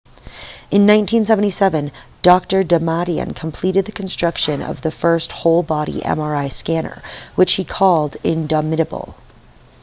in 1977 dr damadian completed the construction of the first whole-body mri scanner which he called the indomitable